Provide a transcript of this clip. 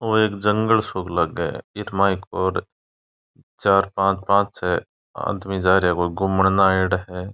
ओ एक जंगल सो लागे है इर मायने और चार पांच पांच छ आदमी जा रेया है कोई घुमन नै आएडा है।